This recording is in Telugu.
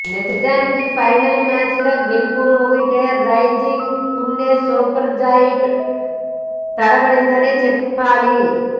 నిజానికి ఫైనల్ మ్యాచ్లో గెలుపు ముంగిట రైజింగ్ పుణె సూపర్ జెయింట్ తడబడిందనే చెప్పాలి